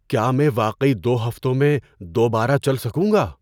کیا میں واقعی دو ہفتوں میں دوبارہ چل سکوں گا؟